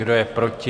Kdo je proti?